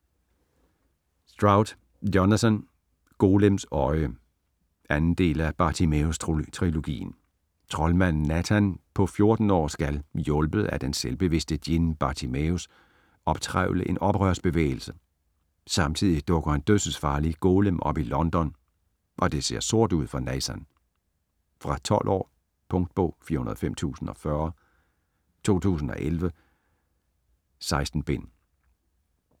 Stroud, Jonathan: Golems øje 2. del af Bartimæus trilogien. Troldmanden Nathan på 14 år skal - hjulpet af den selvbevidste djinn Bartimæus - optrævle en oprørsbevægelse. Samtidig dukker en dødsensfarlig Golem op i London, og det ser sort ud for Nathan. Fra 12 år. Punktbog 405040 2011. 16 bind.